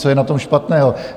Co je na tom špatného?